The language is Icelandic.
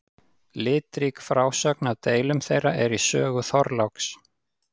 Litrík frásögn af deilum þeirra er í sögu Þorláks.